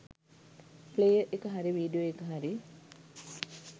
Player එක හරි video එක හරි.